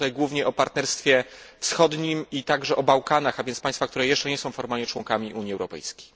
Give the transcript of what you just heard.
Myślę tutaj głównie o partnerstwie wschodnim i także o Bałkanach, a więc państwach, które nie są jeszcze formalnie członkami Unii Europejskiej.